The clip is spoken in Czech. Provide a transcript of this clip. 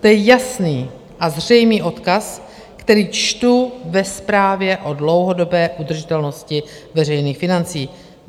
To je jasný a zřejmý odkaz, který čtu ve zprávě o dlouhodobé udržitelnosti veřejných financí.